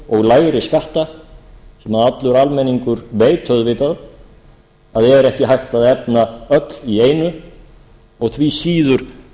og lægri skatta sem allur almenningur veit auðvitað að er ekki hægt að efna öll í árinu og því síður á